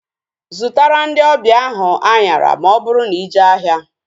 Zụtara ndị ọbịa ahu anyara ma ọ bụrụ na ije ahịa